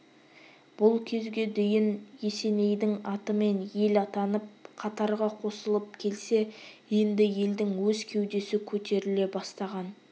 бұл кезге дейін есенейдің атымен ел атанып қатарға қосылып келсе енді елдің өз кеудесі көтеріле бастаған